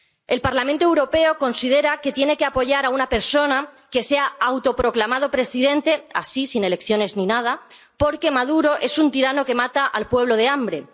El Parlamento Europeo considera que tiene que apoyar a una persona que se ha autoproclamado presidente, así sin elecciones ni nada, porque Maduro es un tirano que mata al pueblo de hambre.